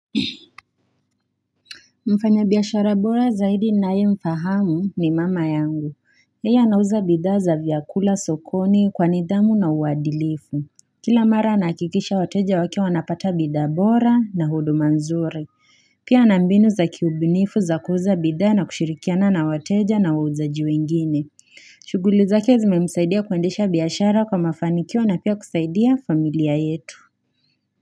Mfanyabiashara bora zaidi ninayemfahamu ni mama yangu. Yeye anauza bidhaa za vyakula sokoni kwa nidhamu na uadilifu. Kila mara anahakikisha wateja wake wanapata bidhaa bora na huduma nzuri. Pia ana mbinu za kiubunifu za kuuza bidhaa na kushirikiana na wateja na wauzaji wengine. Shughuli zake zimemsaidia kuendesha biashara kwa mafanikio na pia kusaidia familia yetu.